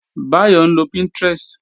Báyọ̀ ń lo Pinterest